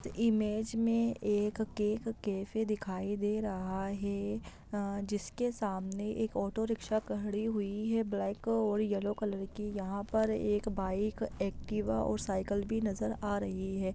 Image में एक cake cafe दिखाई दे रहा है अ-- जिसके सामने एक ऑटो रिकशा खड़ी हुई है ब्लैक और येलो कलर की यहाँ पर एक बाईक एक्टिवा और साईकल भी नजर आ रही हैं।